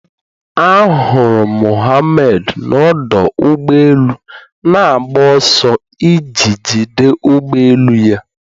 Ahụrụ m Mohammad n'ọdụ ụgbọ elu na-agba ọsọ iji jide ụgbọ elu ya